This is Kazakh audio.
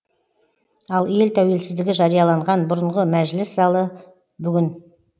ал ел тәуелсіздігі жарияланған бұрынғы мәжіліс залы бүгінде